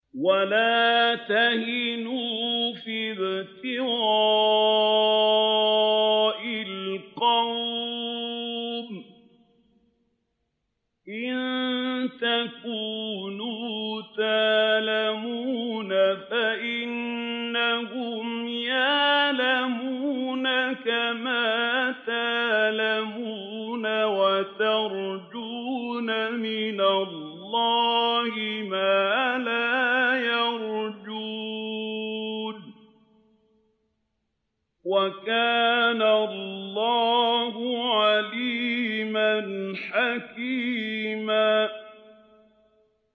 وَلَا تَهِنُوا فِي ابْتِغَاءِ الْقَوْمِ ۖ إِن تَكُونُوا تَأْلَمُونَ فَإِنَّهُمْ يَأْلَمُونَ كَمَا تَأْلَمُونَ ۖ وَتَرْجُونَ مِنَ اللَّهِ مَا لَا يَرْجُونَ ۗ وَكَانَ اللَّهُ عَلِيمًا حَكِيمًا